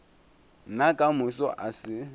nna ka moso a se